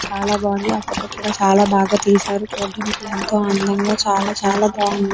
చాలా బాగుంది ఆ ఫోటో కూడా చాలా బాగా చేశారు చూడ్డానికి ఎంతో అందంగా చాలా చాలా బాగుంది.